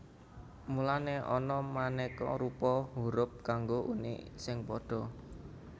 Mulané ana manéka rupa hurup kanggo uni sing padha